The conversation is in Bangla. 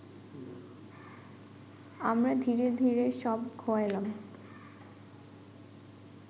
আমরা ধীরে ধীরে সব খোয়াইলাম